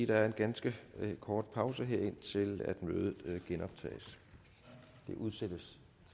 der er en ganske kort pause indtil mødet genoptages det udsættes